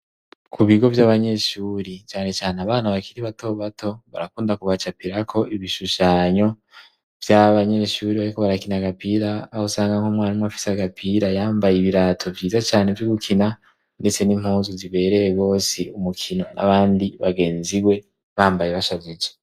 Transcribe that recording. Ku bigo vy'abanyeshuri canecane abana bakiri batobato barakunda kubacapirako ibishushanyo vy'abanyeshuri bariko barakina agapira, aho usanga nk'umwarimu afise agapira yambaye ibirato vyiza cane vy'ugukina, ndetse n'impuzu zibereye gose umukino, n'abandi bagenziwe bambaye bashajije.